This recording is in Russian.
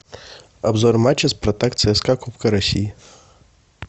обзор матча спартак цска кубка россии